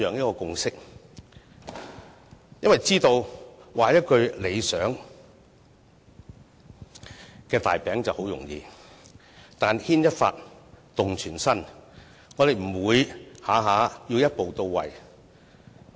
原因是大家知道，畫一個理想的大餅很容易，但牽一髮動全身，我們不會動輒要求一步到位。